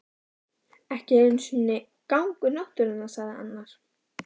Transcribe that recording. Ekki einu sinni gangur náttúrunnar sagði annar.